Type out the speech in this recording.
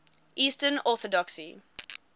eastern orthodoxy